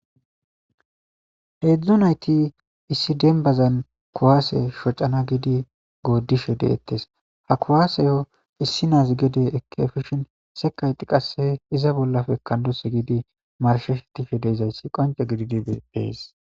Heedzdzu nayti issi dembazan kuwase shocana giidi goodishe de'etes ha kuwaseyo issi naazi gede efishin sekkayti qasse iza bollape ekkandos giidi marshetishe de'izayssi qoncce gididi beettees.